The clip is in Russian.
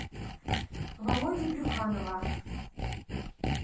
володи брюханова